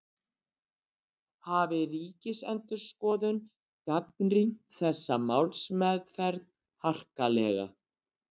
Hafi Ríkisendurskoðun gagnrýnt þessa málsmeðferð harkalega